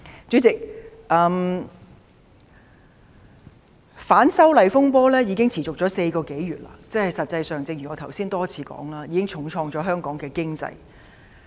主席，反修例風波已持續4個多月，正如我剛才多次提到，實際上已重創香港的經濟。